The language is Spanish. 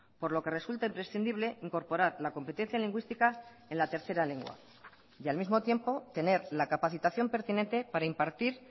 por lo que resulta imprescindible incorporar la competencia lingüística en la tercera lengua y al mismo tiempo tener la capacitación pertinente para impartir